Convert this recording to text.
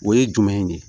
O ye jumɛn ye de